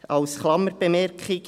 Dies als Klammerbemerkung.